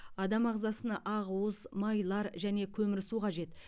адам ағзасына ақуыз майлар және көмірсу қажет